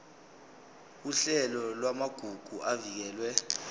uhlelo lwamagugu avikelwe